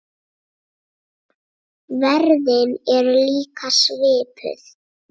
Verðin eru líka svipuð.